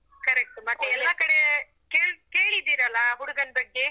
Correct ಎಲ್ಲ ಕಡೆ ಕೇಳ್~ ಕೇಳಿದ್ದೀರಲ್ಲ ಹುಡುಗನ್ ಬಗ್ಗೆ?